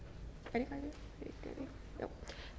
af